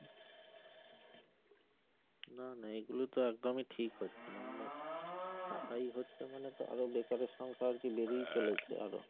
না না এগুলো তো একদমই ঠিক হচ্ছে না মানে ছাটাই হচ্ছে মানে তো আরো বেকারের সংখ্যা আর কি বেড়েই চলেছে আরো